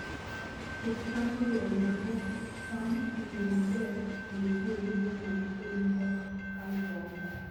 Pith cham oriwo nyago cham e yo maber kendo tiyo gi yore mag pur ma ok kal tong'.